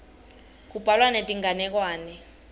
kubhalwa netinganekwane